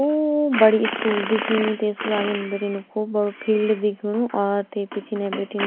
खूब बड़ी स्कूल दिखणी त्ये स्कूला अगिन बिटिन खूब बडो फील्ड दिखयुणु और ते पिछने बिटिन --